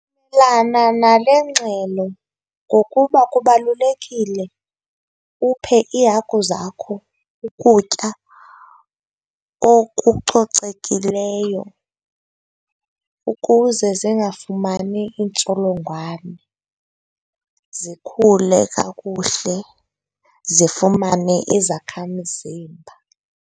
Nale ngxelo ngokuba kubalulekile uphe iihagu zakho ukutya okucocekileyo ukuze zingafumani iintsholongwane, zikhule kakuhle zifumane izakha mzimba.